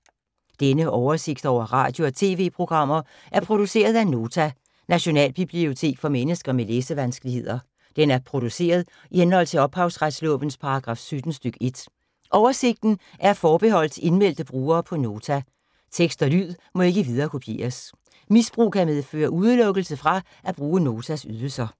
Denne oversigt over radio og TV-programmer er produceret af Nota, Nationalbibliotek for mennesker med læsevanskeligheder. Den er produceret i henhold til ophavsretslovens paragraf 17 stk. 1. Oversigten er forbeholdt indmeldte brugere på Nota. Tekst og lyd må ikke viderekopieres. Misbrug kan medføre udelukkelse fra at bruge Notas ydelser.